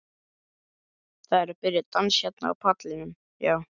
Það er að byrja dans hérna á pallinum, já.